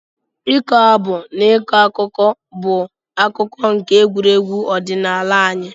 Ịkọ abụ na ịkọ akụkọ bụ akụkụ nke egwuregwu ọdịnala anyị.